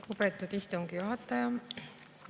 Lugupeetud istungi juhataja!